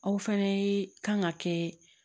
Aw fɛnɛ kan ka kɛ